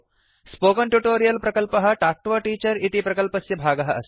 spoken tutorial प्रकल्पः talk to a teacher इति प्रकल्पस्य भागः अस्ति